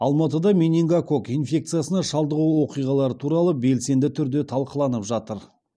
алматыда менингококк инфекциясына шалдығу оқиғалары туралы белсенді түрде талқыланып жатыр